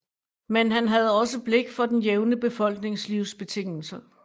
Men han havde også blik for den jævne befolknings livsbetingelser